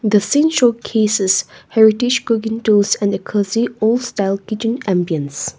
The scene showcases heritage cooking tools and a cozy old style kitchen ambience.